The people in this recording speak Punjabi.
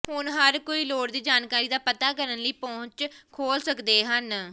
ਹੁਣ ਹਰ ਕੋਈ ਲੋੜ ਦੀ ਜਾਣਕਾਰੀ ਦਾ ਪਤਾ ਕਰਨ ਲਈ ਪਹੁੰਚ ਖੋਲ੍ਹ ਸਕਦੇ ਹਨ